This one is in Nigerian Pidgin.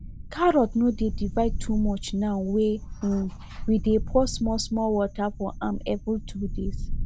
carrot no dey divide too much now wey um we dey pour small small water for am every two days